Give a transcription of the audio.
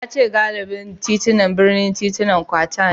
Ya ce galibin titunan birnin titunan kwata ne